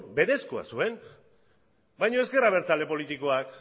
berezkoa zuen baino ez gara talde politikoak